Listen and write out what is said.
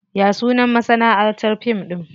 Ya sunan masanaʼantar fim ɗin?